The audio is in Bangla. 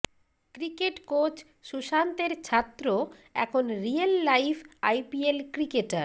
ক্রিকেট কোচ সুশান্তের ছাত্র এখন রিয়েল লাইফ আইপিএল ক্রিকেটার